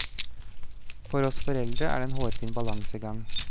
For oss foreldre er det en hårfin balansegang.